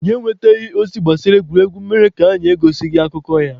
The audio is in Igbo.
Anyị enwetaghị ozi gbasara egwuregwu mere na anyị egosighị akụkọ ya.